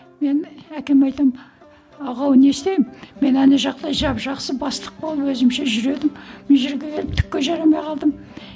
мен әкеме айтамын аға ау не істеймін мен ана жақта жап жақсы бастық болып өзімше жүр едім мына жерге келіп түкке жарамай қалдым